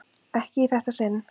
Ekki í þetta sinn.